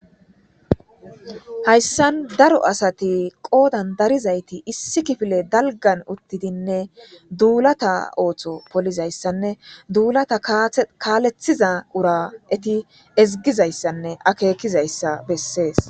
hayssan daro asati qoodan darizayti issi kifile dalgan uttidinne duulata ooththo polizayssanne duulata kaalethiza ura eti ezgizayssanne akeekizayssa bessees